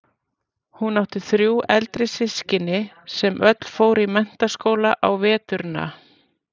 Hún átti þrjú eldri systkini sem öll fóru í Mennta- skóla á veturna.